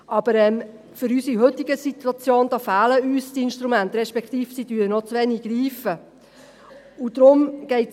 Aber für unsere heutige Situation fehlen uns die Instrumente, respektive sie greifen noch zu wenig.